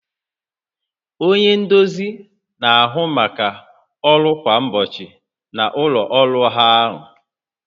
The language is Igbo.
Onye nduzi na-ahụ maka ọrụ kwa ụbọchị na ụlọ ọrụ ahụ